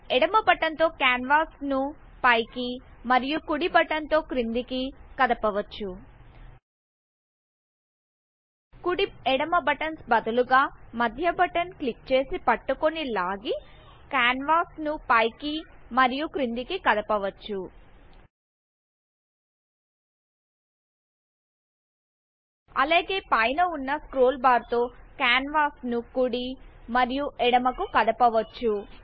ఎడమ బటన్ తో కాన్వాస్ ను పై కి మరియు కుడి బటన్ తో కిందికి కదపవచ్చు కుడి ఎడమ బటన్స్ బదులుగా మధ్య బటన్ క్లిక్ చేసి పట్టుకొనిలాగి కాన్వాస్ ను పై కి మరియు కిందికి కదపవచ్చు అలాగే పై న వున్న స్క్రోల్ బార్ తో కాన్వాస్ ను కుడి మరియు ఎడమకు కదపవచ్చు